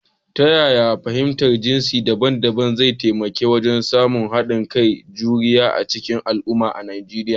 Ta yaya fahimtar jinsi daban-daban zai taimaka wajen samun haɗin kai da juriya a cikin al’umma a Nijeriya?